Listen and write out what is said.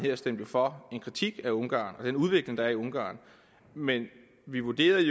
jo stemte for en kritik af ungarn og den udvikling der er i ungarn men vi vurderede at